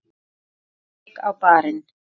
Beint strik á barinn.